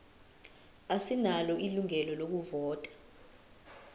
asinalo ilungelo lokuvota